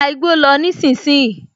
Gba igbó lọ nísinsìnyí!